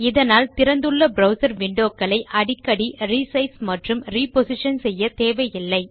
இதனால் திறந்துள்ள browser window க்களை அடிக்கடி ரிசைஸ் மற்றும் ரிப்போசிஷன் செய்யத்தேவையில்லை